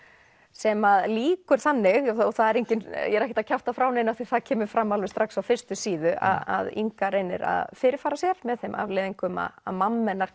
sem lýkur þannig og ég er ekkert að kjafta frá neinu af því það kemur fram alveg strax á fyrstu síðu að Inga reynir að fyrirfara sér með þeim afleiðingum að að mamma hennar